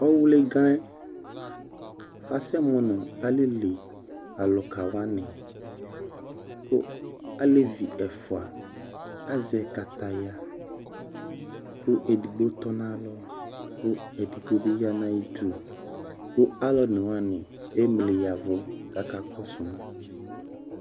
Ɔwli ga yɛ kasɛmʋ nʋ alili alʋka wani kʋ alevi ɛfua azɛ kataya kʋ edigbo tɔ n'alɔ kʋ edigbo bi ya n'ayidu kʋ alʋ onewani emli ya vu k'aka kɔsu ma